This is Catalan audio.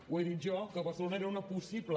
ho he dit jo que barcelona era una possible